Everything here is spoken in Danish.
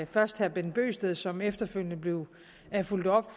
først herre bent bøgsted som efterfølgende blev fulgt op